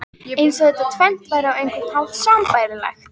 Eins og þetta tvennt væri á einhvern hátt sambærilegt.